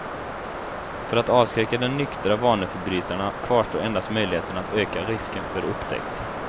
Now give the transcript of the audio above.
För att avskräcka de nyktra vaneförbrytarna kvarstår endast möjligheten att öka risken för upptäckt.